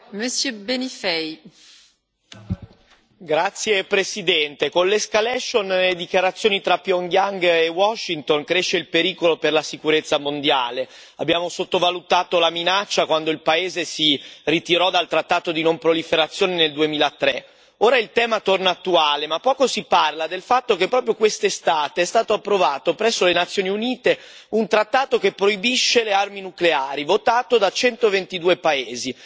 Signora Presidente, onorevoli colleghi, con l'escalation delle dichiarazioni tra Pyongyang e Washington cresce il pericolo per la sicurezza mondiale. Abbiamo sottovalutato la minaccia quando il paese si ritirò dal trattato di non proliferazione nel 2003. Ora il tema torna attuale ma poco si parla del fatto che, proprio quest'estate, è stato approvato presso le Nazioni Unite un trattato che proibisce le armi nucleari, votato da 122 paesi.